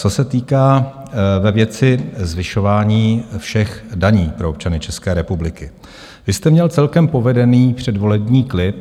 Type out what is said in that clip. Co se týká ve věci zvyšování všech daní pro občany České republiky, vy jste měl celkem povedený předvolební klip.